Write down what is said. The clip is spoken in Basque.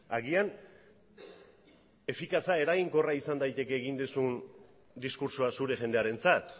agian efikaza eraginkorra izan daiteke egin duzun diskurtsoa zure jendearentzat